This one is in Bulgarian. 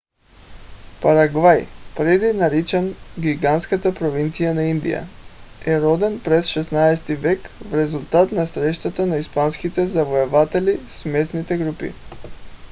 парагвай преди наричан гигантската провинция на индия е роден през 16-ти век в резултат на срещата на испанските завоеватели с местните групи